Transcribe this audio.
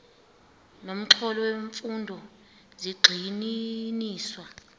nomxholo wemfundo zigxininiswa